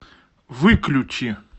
выключи